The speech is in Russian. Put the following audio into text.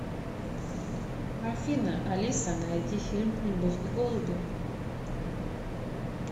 афина алиса найди фильм любовь и голуби